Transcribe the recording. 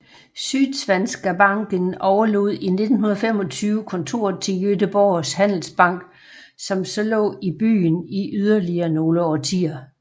Sydsvenska banken overlod i 1925 kontoret til Göteborgs handelsbank som så lå i byen i yderligere nogle årtier